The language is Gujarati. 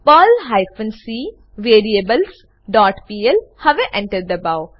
Perl hyphen c variables dot pl હવે Enter દબાઓ